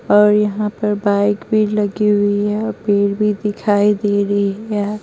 और यहां पर बाइक भी लगी हुई है और पेड़ भी दिखाई दे रही है।